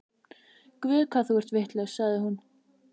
Guð, hvað þú ert vitlaus, sagði hún.